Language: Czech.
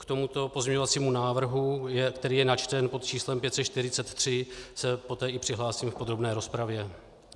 K tomuto pozměňovacímu návrhu, který je načten pod číslem 543, se poté i přihlásím v podrobné rozpravě.